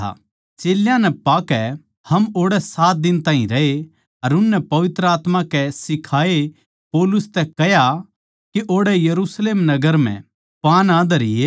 चेल्यां नै पाकै हम ओड़ै सात दिन ताहीं रहे उननै पवित्र आत्मा के सिखाए पौलुस तै कह्या के ओड़ै यरुशलेम नगर म्ह पाँ ना धरिये